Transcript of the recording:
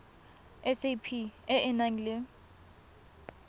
sap e e nang le